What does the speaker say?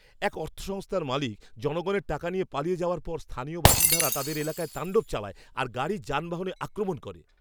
এক অর্থ সংস্থার মালিক জনগণের টাকা নিয়ে পালিয়ে যাওয়ার পর স্থানীয় বাসিন্দারা তাদের এলাকায় তাণ্ডব চালায় আর গাড়ি যানবাহনে আক্রমণ করে।